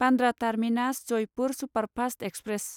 Bandra terminus Jaipur superfast express